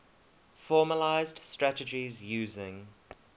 formalised strategies using